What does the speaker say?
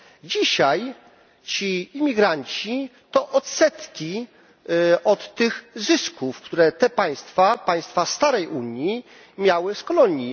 Dzisiaj ci imigranci to odsetki od tych zysków, które te państwa, państwa starej Unii, miały z kolonii.